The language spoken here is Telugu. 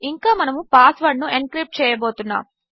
మరియుమనముపాస్వర్డ్నుఎన్క్రిప్ట్చేయబోతున్నాము